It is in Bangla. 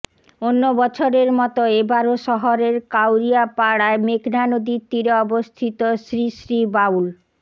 অন্য বছরের মতো এবারও শহরের কাউরিয়াপাড়ায় মেঘনা নদীর তীরে অবস্থিত শ্রীশ্রী বাউল